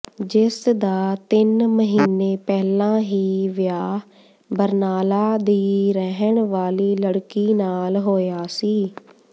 ਜਿਸ ਦਾ ਤਿੰਨ ਮਹੀਨੇ ਪਹਿਲਾਂ ਹੀ ਵਿਆਹ ਬਰਨਾਲਾ ਦੀ ਰਹਿਣ ਵਾਲੀ ਲੜਕੀ ਨਾਲ ਹੋਇਆ ਸੀ